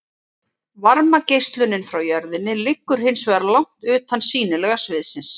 Varmageislunin frá jörðinni liggur hins vegar langt utan sýnilega sviðsins.